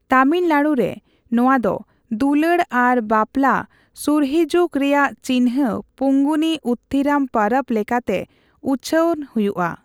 ᱛᱟᱢᱤᱞᱱᱟᱲᱩᱨᱮ, ᱱᱚᱣᱟ ᱫᱚ ᱫᱩᱞᱟᱹᱲ ᱟᱨ ᱵᱟᱯᱞᱟ ᱥᱩᱨᱦᱤᱡᱩᱜ ᱨᱮᱭᱟᱜ ᱪᱤᱱᱦᱟᱹ ᱯᱚᱝᱜᱩᱱᱤ ᱩᱛᱷᱛᱷᱤᱨᱚᱢ ᱯᱟᱨᱟᱵᱽ ᱞᱮᱠᱟᱛᱮ ᱩᱪᱷᱟᱹᱱ ᱦᱳᱭᱳᱜᱼᱟ ᱾